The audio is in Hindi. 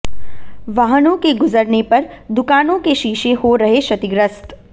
वाहनों के गुजरने पर दुकानों के शीशे हो रहे क्षतिग्रस्त